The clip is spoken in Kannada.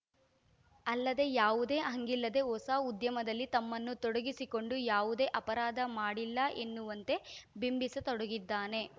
ಅಲ್ಲದೆ ಯಾವುದೇ ಹಂಗಿಲ್ಲದೆ ಹೊಸ ಉದ್ಯಮದಲ್ಲಿ ತಮ್ಮನ್ನು ತೊಡಗಿಸಿಕೊಂಡು ಯಾವುದೇ ಅಪರಾಧ ಮಾಡಿಲ್ಲ ಎನ್ನುವಂತೆ ಬಿಂಬಿಸ ತೊಡಗಿದ್ದಾನೆ